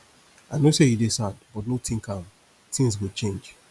i no say you dey sad but no dey think am things go change